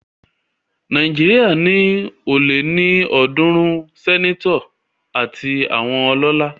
Nàìjíríà ní ó lé ní ọ̀dúrún sẹ́netọ̀ àti àwọn ọlọ́lá